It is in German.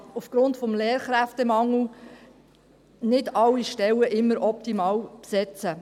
Aufgrund des Lehrkräftemangels kann man nicht immer alle Stellen optimal besetzen.